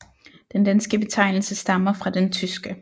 Den danske betegnelse stammer fra den tyske